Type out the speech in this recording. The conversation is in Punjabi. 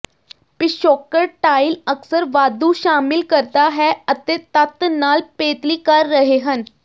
ਪਿਛੋਕੜ ਟਾਇਲ ਅਕਸਰ ਵਾਧੂ ਸ਼ਾਮਿਲ ਕਰਦਾ ਹੈ ਅਤੇ ਤੱਤ ਨਾਲ ਪੇਤਲੀ ਕਰ ਰਹੇ ਹਨ